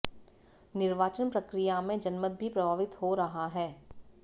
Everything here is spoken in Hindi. निर्वाचन प्रक्रिया में जनमत भी प्रभावित हो रहा है